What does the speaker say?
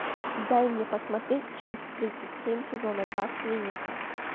дай мне посмотреть часть тридцать семь сезона два клиника